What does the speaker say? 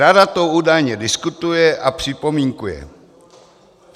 Rada to údajně diskutuje a připomínkuje.